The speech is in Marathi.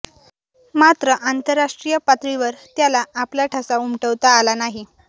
मात्र आंतरराष्ट्रीय पातळीवर त्याला आपला ठसा उमटवता आला नाही